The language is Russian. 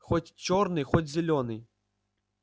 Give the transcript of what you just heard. хоть чёрный хоть зелёный